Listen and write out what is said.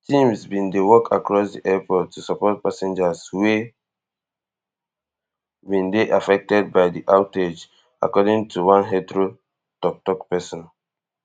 teams bin dey work across di airport to support passengers wey bin dey affected by di outage according to one heathrow toktok pesin